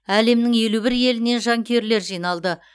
әлемнің елу бір елінен жанкүйерлер жиналды